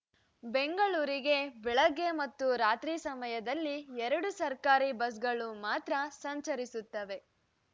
ಬೆಂಗಳೂರಿಗೆ ಬೆಳಗ್ಗೆ ಮತ್ತು ರಾತ್ರಿ ಸಮಯದಲ್ಲಿ ಎರಡು ಸರ್ಕಾರಿ ಬಸ್‌ಗಳು ಮಾತ್ರ ಸಂಚರಿಸುತ್ತವೆ